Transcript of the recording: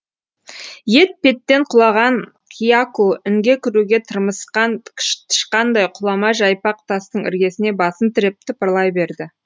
ет петтен құлаған кияку інге кіруге тырмысқан тышқандай құлама жайпақ тастың іргесіне басын тіреп тыпырлай берді